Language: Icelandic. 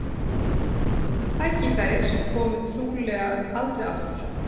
Tækifæri sem komi trúlega aldrei aftur.